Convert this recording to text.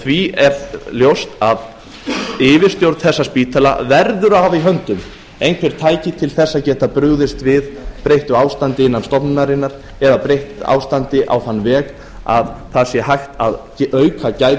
því er ljóst að yfirstjórn þessa spítala verður að hafa í höndum einhver tæki til þess að geta brugðist við breyttu ástandi innan stofnunarinnar eða breytt ástandi á þann veg að það sé hægt að auka gæði